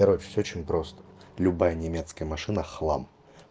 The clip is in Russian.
короче всё очень просто любая немецкая машина хлам